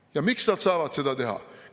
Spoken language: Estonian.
Ja miks nad saavad seda teha?